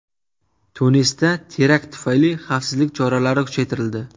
Tunisda terakt tufayli xavfsizlik choralari kuchaytirildi.